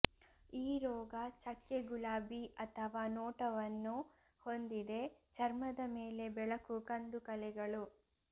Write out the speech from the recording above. ಈ ರೋಗ ಚಕ್ಕೆ ಗುಲಾಬಿ ಅಥವಾ ನೋಟವನ್ನು ಹೊಂದಿದೆ ಚರ್ಮದ ಮೇಲೆ ಬೆಳಕು ಕಂದು ಕಲೆಗಳು